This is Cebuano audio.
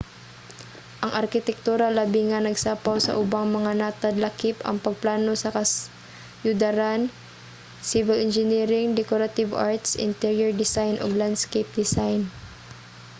ang arkitektura labi nga nagsapaw sa ubang mga natad lakip ang pagplano sa kasyudaran civil engineering decorative arts interior design ug landscape design